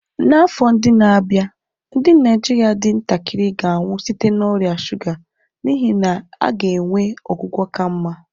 N'afọ ndị na-abịa, ndị Naijiria dị ntakịrị ga-anwụ site na ọrịa shuga n'ihi na a ga-enwe ọgwụgwọ ka mma.